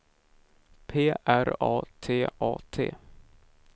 P R A T A T